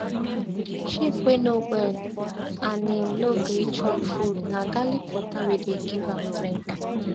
sheep wey no well and im no gree chop food na garlic water we we dey give am drink